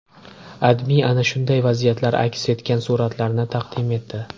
AdMe ana shunday vaziyatlar aks etgan suratlarni taqdim etdi .